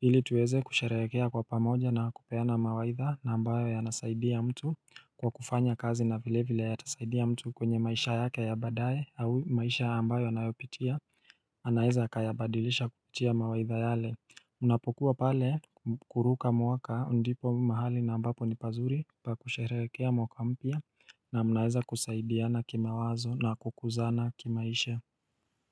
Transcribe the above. ili tuweze kusherehekea kwa pamoja na kupeana mawaidha na ambayo yanasaidia mtu kwa kufanya kazi na vile vile yatasaidia mtu kwenye maisha yake ya baadae au maisha ambayo anayopitia anaeza akayabadilisha kupitia mawaidha yale Unapokuwa pale kuruka mwaka ndipo mahali na ambapo ni pazuri pa kusherehekea mwaka mpya na mnaeza kusaidiana kimawazo na kukuzana kimaisha.